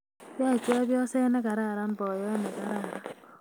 Yoe chepyoset negararan boyot negararan